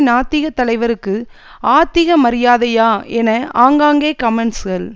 நாத்திக தலைவருக்கு ஆத்திக மரியாதையா என ஆங்காங்கே கமெண்ட்ஸ்கள்